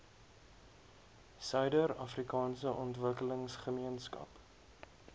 suider afrikaanse ontwikkelingsgemeenskap